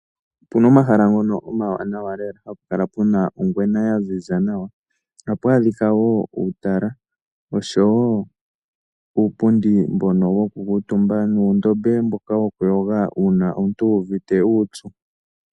Opuna omahala ngono omawanawa lela hapu kala puna ongwena yaziza nawa. Ohapu adhika wo uutalala oshowo uupundi mbono woku kuutumba nuundama mboka woku yoga una omuntu wu uvite uupyu.